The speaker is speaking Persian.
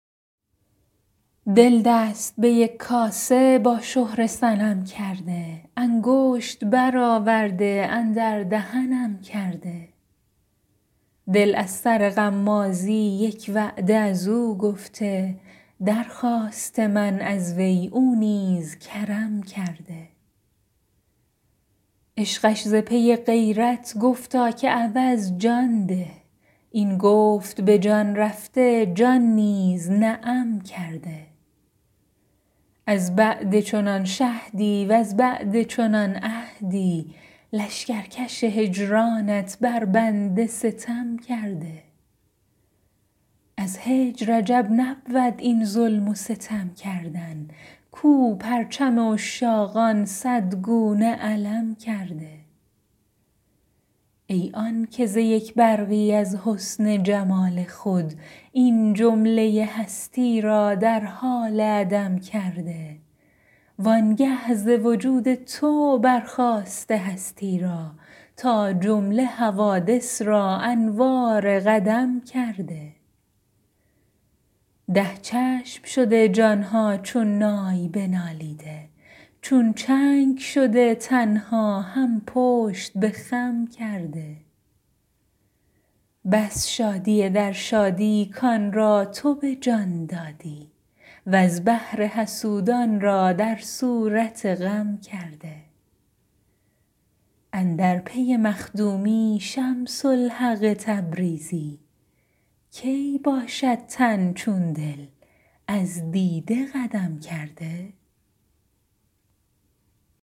دل دست به یک کاسه با شهره صنم کرده انگشت برآورده اندر دهنم کرده دل از سر غمازی یک وعده از او گفته درخواسته من از وی او نیز کرم کرده عشقش ز پی غیرت گفتا که عوض جان ده این گفت به جان رفته جان نیز نعم کرده از بعد چنان شهدی وز بعد چنان عهدی لشکرکش هجرانت بر بنده ستم کرده از هجر عجب نبود این ظلم و ستم کردن کو پرچم عشاقان صد گونه علم کرده ای آنک ز یک برقی از حسن جمال خود این جمله هستی را در حال عدم کرده وآنگه ز وجود تو برساخته هستی را تا جمله حوادث را انوار قدم کرده ده چشم شده جان ها چون نای بنالیده چون چنگ شده تن ها هم پشت به خم کرده بس شادی در شادی کان را تو به جان دادی وز بهر حسودان را در صورت غم کرده اندر پی مخدومی شمس الحق تبریزی کی باشد تن چون دل از دیده قدم کرده